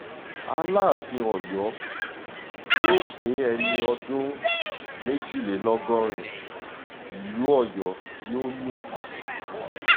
alaàfin ọ̀yọ́ yóò pé ẹni ọdún méjìlélọ́gọ́rin ìlú ọ̀yọ́ yóò mì tìtì